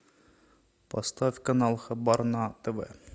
поставь канал хабар на тв